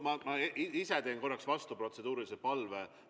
Ma esitan vastu protseduurilise palve.